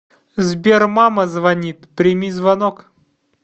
сбер мама звонит прими звонок